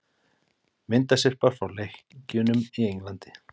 Myndasyrpa frá leikjunum í Englandi